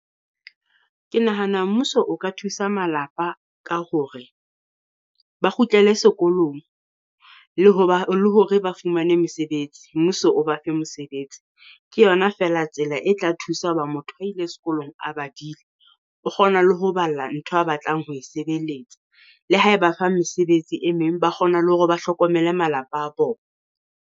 Ke nahana mmuso o ka thusa malapa ka hore ba kgutlele sekolong le ho ba le hore ba fumane mesebetsi, mmuso o ba fe mosebetsi. Ke yona feela tsela e tla thusa hoba motho a ile sekolong a badile o kgona le ho balla ntho a batlang ho e sebeletsa. Le ha e ba fa mesebetsi e meng, ba kgona le hore ba hlokomele malapa a bona.